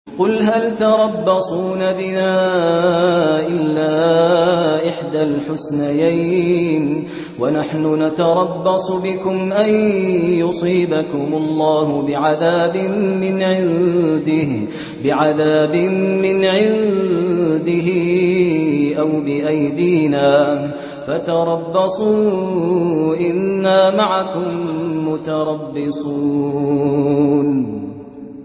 قُلْ هَلْ تَرَبَّصُونَ بِنَا إِلَّا إِحْدَى الْحُسْنَيَيْنِ ۖ وَنَحْنُ نَتَرَبَّصُ بِكُمْ أَن يُصِيبَكُمُ اللَّهُ بِعَذَابٍ مِّنْ عِندِهِ أَوْ بِأَيْدِينَا ۖ فَتَرَبَّصُوا إِنَّا مَعَكُم مُّتَرَبِّصُونَ